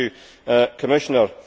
Thank you Commissioner.